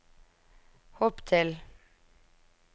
hopp til